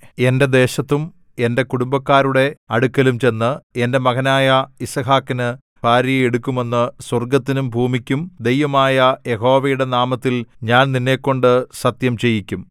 എന്റെ ദേശത്തും എന്റെ കുടുംബക്കാരുടെ അടുക്കലും ചെന്ന് എന്റെ മകനായ യിസ്ഹാക്കിന് ഭാര്യയെ എടുക്കുമെന്ന് സ്വർഗ്ഗത്തിനും ഭൂമിക്കും ദൈവമായ യഹോവയുടെ നാമത്തിൽ ഞാൻ നിന്നെക്കൊണ്ട് സത്യം ചെയ്യിക്കും